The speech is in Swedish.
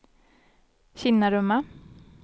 Kinnarumma